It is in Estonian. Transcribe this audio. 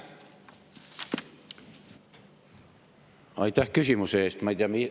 Aitäh küsimuse eest!